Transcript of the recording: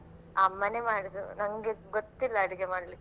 ಅಮ್ಮನೇ ಮಾಡುದು ನಂಗೆ ಗೊತ್ತಿಲ್ಲಾ ಅಡುಗೆ ಮಾಡ್ಲಿಕೆ. ಹೌದಾ ಹಾ.